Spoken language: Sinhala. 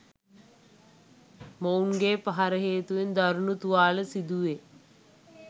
මොවුන්ගේ පහර හේතුවෙන් දරුණු තුවාල සිදුවේ.